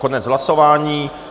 Konec hlasování.